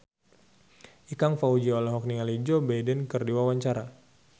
Ikang Fawzi olohok ningali Joe Biden keur diwawancara